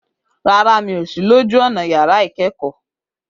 Rárá, mi ò sí lójú ọ̀nà yàrá ìkẹ́kọ̀ọ́.